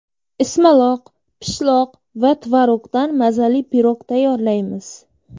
Ismaloq, pishloq va tvorogdan mazali pirog tayyorlaymiz.